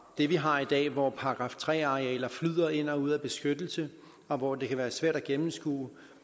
det vi har i dag hvor § tre arealer flyder ind og ud af beskyttelse og hvor det kan være svært at gennemskue